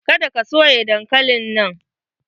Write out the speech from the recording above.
Ka da ka soya dankalin nan!